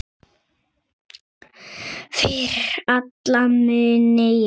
Fyrir alla muni, já.